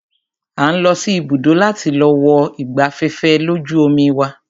A ń lọ sí ibùdó láti wo ọkọ̀ ìgbafẹ́fẹ́ lójú omi wa.